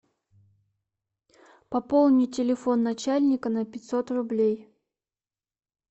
пополни телефон начальника на пятьсот рублей